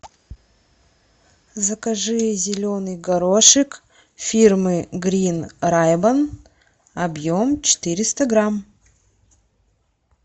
закажи зеленый горошек фирмы грин райбан объем четыреста грамм